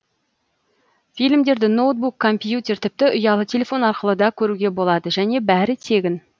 фильмдерді ноутбук компьютер тіпті ұялы телефон арқылы да көруге болады және бәрі тегін